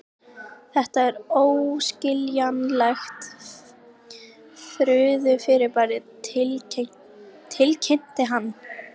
Þetta er óskiljanlegt furðufyrirbæri tilkynnti hann.